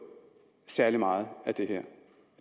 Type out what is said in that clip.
særlig meget af det her